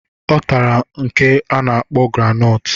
Ọ tara nke a na-akpọ granọtụ